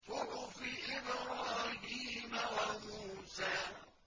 صُحُفِ إِبْرَاهِيمَ وَمُوسَىٰ